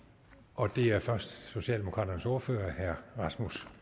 og det er først socialdemokraternes ordfører herre rasmus